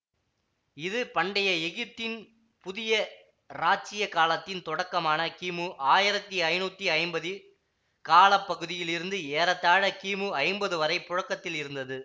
இது பண்டைய எகிப்தின் புதிய இராச்சியக் காலத்தின் தொடக்கமான கிமு ஆயிரத்தி ஐநூத்தி ஐம்பது கால பகுதியில் இருந்து ஏறத்தாழ கிமு ஐம்பது வரை புழக்கத்தில் இருந்தது